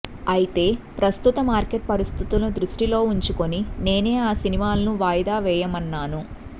అయితే ప్రస్తుత మార్కెట్ పరిస్థితులను దృష్టిలో ఉంచుకొని నేనే ఆ సినిమాలను వాయిదా వేయమన్నాను